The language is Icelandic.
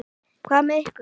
Hvað með ykkur?